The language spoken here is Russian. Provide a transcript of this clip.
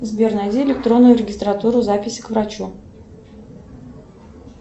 сбер найди электронную регистратуру запись к врачу